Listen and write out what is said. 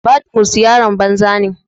Badmus yaron banza ne.